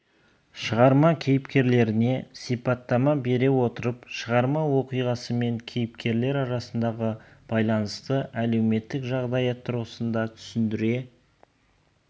шығарма кейіпкерлеріне сипаттама бере отырып шығарма оқиғасы мен кейіпкерлер арасындағы байланысты әлеуметтік жағдаят тұрғысында түсіндіре